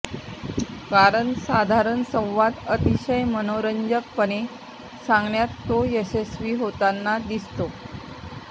कारण साधारण संवाद अतिशय मनोरंजकपणे सांगण्यात तो यशस्वी होताना दिसतो